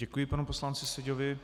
Děkuji panu poslanci Seďovi.